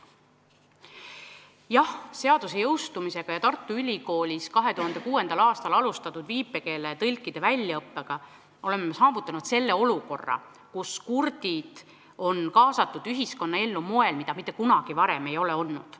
Jah, seaduse jõustumisega ja Tartu Ülikoolis 2006. aastal alustatud viipekeeletõlkide väljaõppega oleme saavutanud olukorra, kus kurdid on kaasatud ühiskonnaellu nii, nagu nad mitte kunagi varem pole olnud.